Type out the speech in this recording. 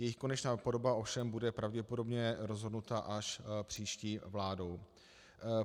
Jejich konečná podoba ovšem bude pravděpodobně rozhodnuta až příští vládou.